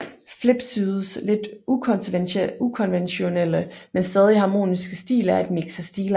Flipsydes lidt ukonventionelle men stadig harmoniske stil er et mix af stilarter